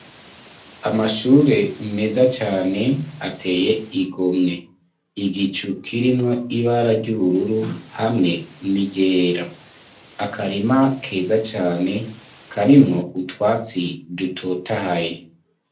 Amashure, meza cane, ateye igomwe; igicu, kirimwo ibara ry'ubururu, hamwe n'iryera; akarima keza cane, karimwo utwatsi dutotahaye.